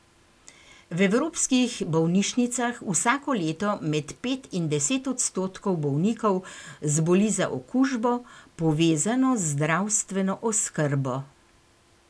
V evropskih bolnišnicah vsako leto med pet in deset odstotkov bolnikov zboli za okužbo, povezano z zdravstveno oskrbo.